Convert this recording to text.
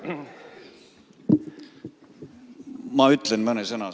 Ma ütlen siis mõne sõna.